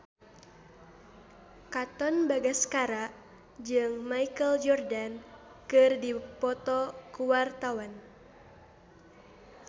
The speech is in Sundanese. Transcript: Katon Bagaskara jeung Michael Jordan keur dipoto ku wartawan